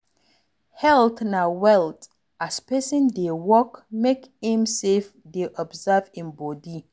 Health na wealth, as person dey work, make im sef dey observe im body